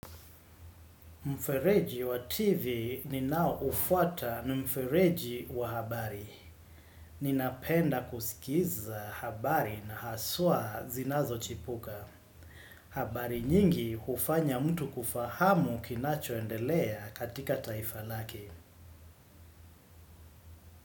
Mfereji wa TV ninaoufuata na mfereji wa habari. Ninapenda kusikiza habari na haswa zinazochipuka. Habari nyingi hufanya mtu kufahamu kinachoendelea katika taifa lake.